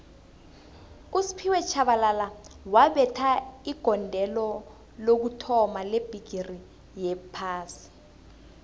usphiwe shabalala wabetha igondelo lokuthoma lebhigixi yophasi